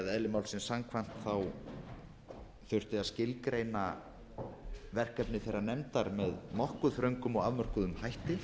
málsins samkvæmt þurfti að skilgreina verkefni þeirrar nefndar með nokkuð þröngum og afmörkuðum hætti